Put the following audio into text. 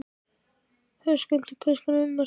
Höskuldur: Hvers konar ummerki?